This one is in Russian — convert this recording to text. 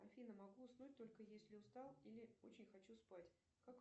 афина могу уснуть только если устал или очень хочу спать как